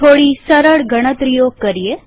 થોડી સરળ ગણતરી કરીએ